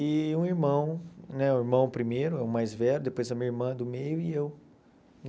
E um irmão, né o irmão primeiro, é o mais velho, depois a minha irmã do meio e eu,